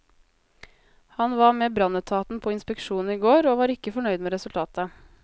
Han var med brannetaten på inspeksjon i går, og var ikke fornøyd med resultatet.